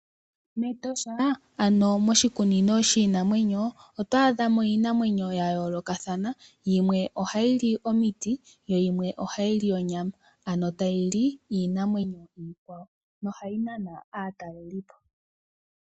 Metosha, ano moshikunino shiinamwenyo, oto adha mo iinamwenyo ya yoolokathana, yimwe ohayi li omiti, yo yimwe ohayi li onyama. Ano tayi li iinamwenyo iikwawo na ohayi nana aatalelipo.